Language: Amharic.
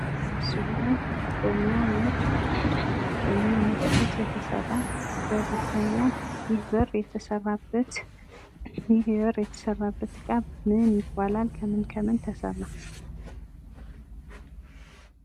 በምስሉ ላይ በሚያምር ውበት የተሰራ በር ይታያል። ይህ በር የተሰራበት እቃ ምን ይባላል? ከምን ከምን ተሰራ?